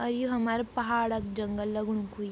और यु हमरा पहाड़ क जंगल लगणु कुई।